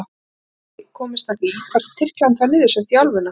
Og hafði áður komist að því hvar Tyrkland var niður sett í álfuna.